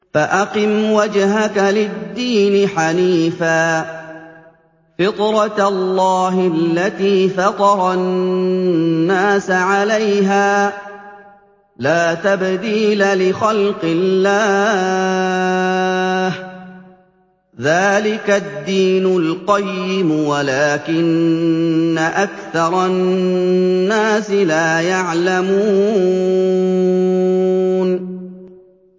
فَأَقِمْ وَجْهَكَ لِلدِّينِ حَنِيفًا ۚ فِطْرَتَ اللَّهِ الَّتِي فَطَرَ النَّاسَ عَلَيْهَا ۚ لَا تَبْدِيلَ لِخَلْقِ اللَّهِ ۚ ذَٰلِكَ الدِّينُ الْقَيِّمُ وَلَٰكِنَّ أَكْثَرَ النَّاسِ لَا يَعْلَمُونَ